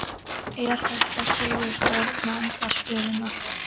Er þetta sigur stjórnarandstöðunnar?